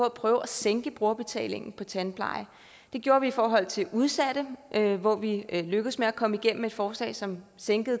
at prøve at sænke brugerbetalingen på tandpleje det gjorde vi i forhold til udsatte hvor vi lykkedes med at komme igennem med et forslag som sænkede